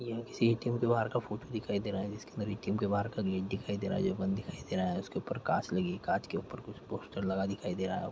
यह किसी ए_टी_एम के बाहर का फोटो दिखाई दे रहा हैं जिसके अन्दर एक ए_टी_एम के बाहर का गेट दिखाई दे रहा हैं उसके ऊपर कुछ कांच लगी कांच के ऊपर कुछ पोस्टर लगा दिखाई दे रहा है।